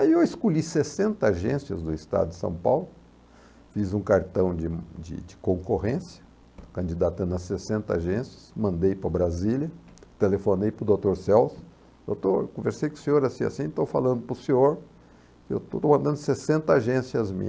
Aí eu escolhi sessenta agências do estado de São Paulo, fiz um cartão de de de concorrência, candidatando a sessenta agências, mandei para Brasília, telefonei para o doutor Celso, doutor, eu conversei com o senhor assim e assim, estou falando para o senhor, eu estou mandando sessenta agências